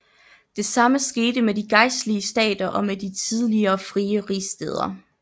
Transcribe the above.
Det samme skete med de gejstlige stater og med de tidligere frie rigsstæder